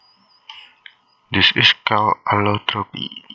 This is called allotropy